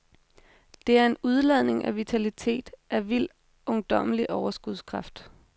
Det er en udladning af vitalitet, af vild, ungdommelig overskudskraft.